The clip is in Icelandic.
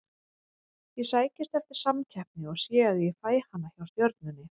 Ég sækist eftir samkeppni og sé að ég fæ hana hjá Stjörnunni.